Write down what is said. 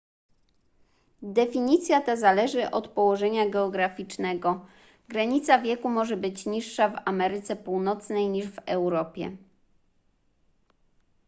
definicja ta zależy od położenia geograficznego granica wieku może być niższa w ameryce północnej niż w europie